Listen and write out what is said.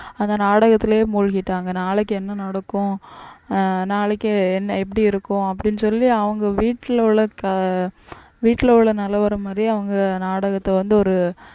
அந்த நாடகத்திலேயே மூழ்கிட்டாங்க நாளைக்கு என்ன நடக்கும் அஹ் நாளைக்கு என்ன எப்படி இருக்கும் அப்படின்னு சொல்லி அவங்க வீட்டுல உள்ள வீட்ல உள்ள நிலவரம் மாதிரி அவங்க நாடகத்தை வந்து ஒரு